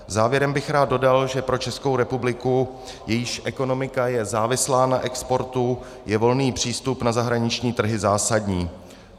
Závěrem bych rád dodal, že pro Českou republiku, jejíž ekonomika je závislá na exportu, je volný přístup na zahraniční trhy zásadní.